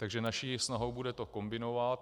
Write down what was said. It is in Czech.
Takže naší snahou bude to kombinovat.